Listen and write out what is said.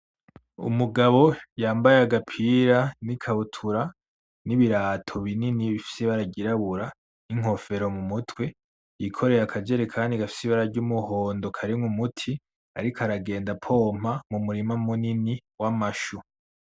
Umugabo yambaye agapira n'ikabutura n'ibirato binini bifise ibara ryirabura n'inkofero mumutwe, yikoreye akajerekani gafise ibara ry'umuhondo karimwo umuti ariko aragenda apompa mumurima munini w'amashu.